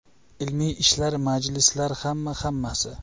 Ilmiy ishlar, majlislar, hamma-hammasi.